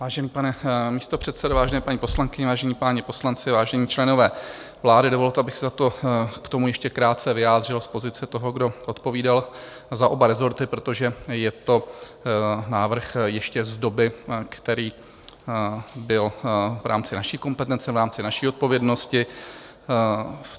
Vážený pane místopředsedo, vážené paní poslankyně, vážení páni poslanci, vážení členové vlády, dovolte, abych se k tomu ještě krátce vyjádřil z pozice toho, kdo odpovídal za oba resorty, protože je to návrh ještě z doby, který byl v rámci naší kompetence, v rámci naší odpovědnosti.